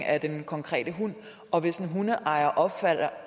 af den konkrete hund og hvis en hundeejer